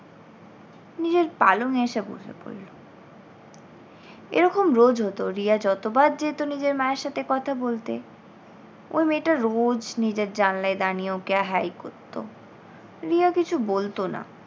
নিজের পালঙ এ এসে বসে পড়ল। এরকম রোজ হতো রিয়া যতবার যেত নিজের মায়ের সাথে কথা বলতে ওই মেয়েটা রোজ নিজের জানলায় দাঁড়িয়ে ওকে hi করত। রিয়া কিছু বলতো না।